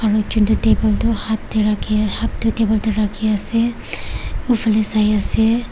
aro ekjon toh table hat hat toh table tae rakhiase ufanae saiase.